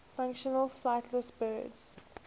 fictional flightless birds